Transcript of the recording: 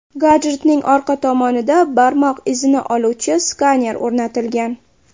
Gadjetning orqa tomonida barmoq izini oluvchi skaner o‘rnatilgan.